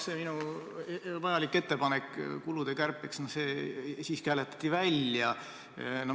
See minu vajalik ettepanek kulude kärpeks siiski hääletati välja.